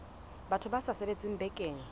batho ba sa sebetseng bakeng